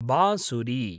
बांसुरी